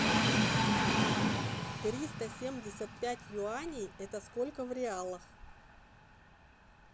триста семьдесят пять юаней это сколько в реалах